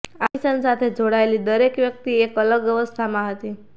આ મિશન સાથે જોડાયેલી દરેક વ્યક્તિ એક અલગ અવસ્થામાં હતી